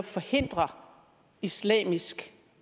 forhindre islamisk